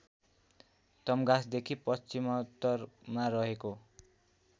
तम्घासदेखि पश्चिममोत्तरमा रहेको